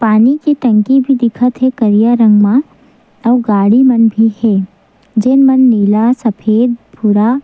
पानी की टंकी भी दिखत हे करिया रंग मा अउ गाड़ी मन भी हे जोन मे नीला सफेद हरा --